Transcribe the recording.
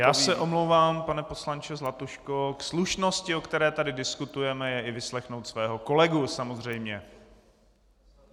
Já se omlouvám, pane poslanče Zlatuško, k slušnosti, o které tady diskutujeme je i vyslechnout svého kolegu samozřejmě.